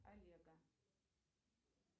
олега